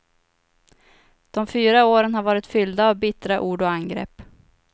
De fyra åren har varit fyllda av bittra ord och angrepp.